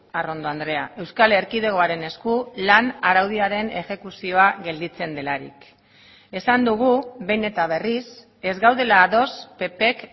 arrondo andrea euskal erkidegoaren esku lan araudiaren exekuzioa gelditzen delarik esan dugu behin eta berriz ez gaudela ados ppk